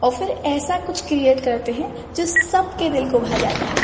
और फिर ऐसा कुछ क्रिएट करते है जिससे सबके दिल को भा जाता हैं।